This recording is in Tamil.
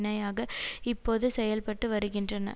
ணையாக இப்போது செயல்பட்டு வருகின்றன